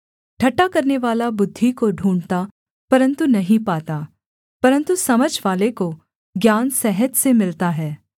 ठट्ठा करनेवाला बुद्धि को ढूँढ़ता परन्तु नहीं पाता परन्तु समझवाले को ज्ञान सहज से मिलता है